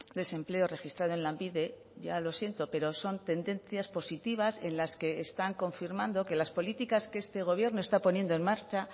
desempleo registrada en lanbide ya lo siento pero son tendencias positivas en las que están confirmando que las políticas que este gobierno está poniendo en marcha